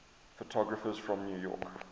photographers from new york